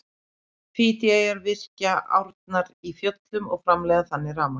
Fídjíeyjar virkja árnar í fjöllunum og framleiða þannig rafmagn.